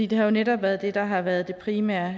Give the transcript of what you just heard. det har jo netop været det der har været det primære